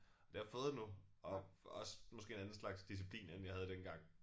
Det har jeg fået nu og også måske en anden slags disciplin end jeg havde dengang